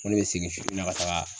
Ko ne be segin su in na ka taaga